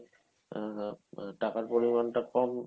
আ~ টাকার পরিমান টা কম